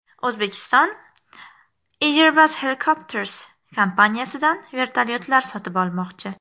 O‘zbekiston Airbus Helicopters kompaniyasidan vertolyotlar sotib olmoqchi.